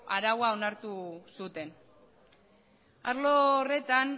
araua onartu zuten arlo horretan